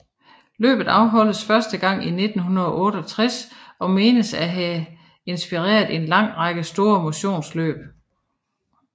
Løbet afholdtes første gang i 1968 og menes at have inspireret en lang række store motionsløb